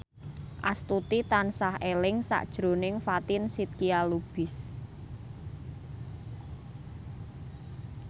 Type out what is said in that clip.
Astuti tansah eling sakjroning Fatin Shidqia Lubis